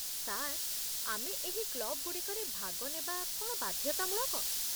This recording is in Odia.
ସାର୍, ଆମେ ଏହି କ୍ଲବ୍‌ଗୁଡ଼ିକରେ ଭାଗ ନେବା କ'ଣ ବାଧ୍ୟତାମୂଳକ?